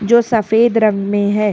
जो सफेद रंग में है।